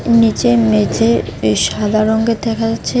নীচে মেঝে সাদা রঙের দেখা যাচ্ছে।